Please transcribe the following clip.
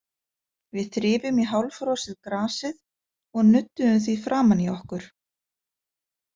Við þrifum í hálffrosið grasið og nudduðum því framan í okkur.